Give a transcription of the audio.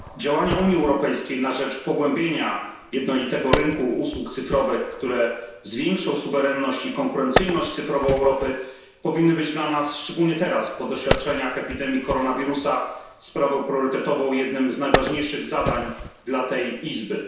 Działania Unii Europejskiej na rzecz pogłębienia jednolitego rynku usług cyfrowych, które zwiększą suwerenność i konkurencyjność cyfrową Europy, powinny być dla nas szczególnie teraz, po doświadczeniach epidemii koronawirusa sprawą priorytetową, jednym z najważniejszych zadań dla tej izby.